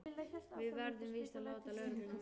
Við verðum víst að láta lögregluna vita.